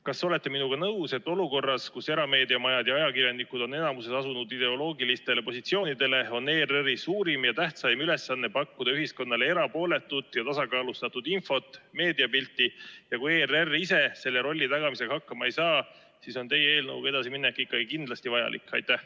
Kas olete minuga nõus, et olukorras, kus erameediamajad ja ajakirjanikud on enamikus asunud ideoloogilistele positsioonidele, on ERR-i suurim ja tähtsaim ülesanne pakkuda ühiskonnale erapooletut ja tasakaalustatud infot, meediapilti, ja kui ERR ise selle rolli tagamisega hakkama ei saa, siis on teie eelnõuga edasiminek kindlasti vajalik?